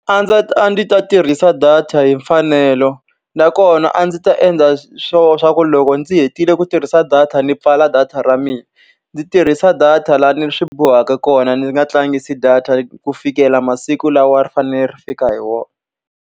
A a ndzi ta tirhisa data hi mfanelo. Nakona a ndzi ta endla swona leswaku loko ndzi hetile ku tirhisa data ni pfala data ra mina. Ndzi tirhisa data laha ni swi bohaka kona, ni nga tlangisi data ku fikela masiku lawa ri fanele ri fika hi wona.